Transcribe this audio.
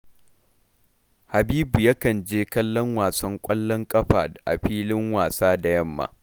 Habibu yakan je kallon wasan ƙwallon ƙafa a filin wasa da yamma